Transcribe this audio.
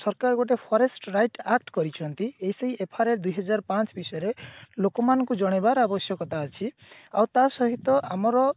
ସରକାର ଗୋଟେ forest wright act କରିଛନ୍ତି SIFR ଦୁଇହଜର ପାଞ୍ଚ ବିଷୟରେ ଲୋକମାନଙ୍କୁ ଜଣେଇବାର ଆବଶ୍ୟକତା ଅଛି ଆଉ ତା ସହିତ ଆମର